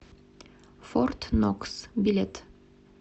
форт нокс билет